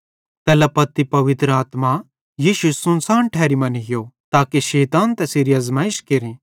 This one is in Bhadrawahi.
तैल्ला पत्ती पवित्र आत्मा यीशु सुनसान ठैरी मां नीयो ताके शैतान तैसेरी आज़माइश केरे